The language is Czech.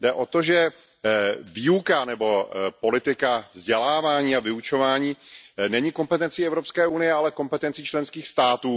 Jde o to, že výuka nebo politika vzdělávání a vyučování není kompetencí EU, ale kompetencí členských států.